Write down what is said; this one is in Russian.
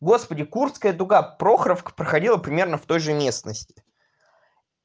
господи курская дуга прохоровка проходила примерно в той же местности